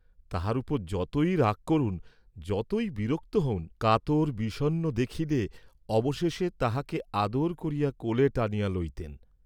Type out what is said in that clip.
তাহার উপর যতই রাগ করুন, যতই বিরক্ত হউন, কাতর বিষণ্ণ দেখিলে অবশেষে তাহাকে আদর করিয়া কোলে টানিয়া লইতেন।